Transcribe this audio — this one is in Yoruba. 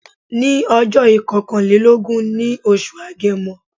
Ní ọjó ìkokanlélógún ní oṣù agemo